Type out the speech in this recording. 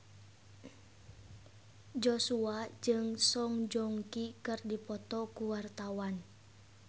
Joshua jeung Song Joong Ki keur dipoto ku wartawan